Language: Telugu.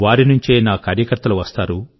వారి నుంచే నా కార్యకర్తలు వస్తారు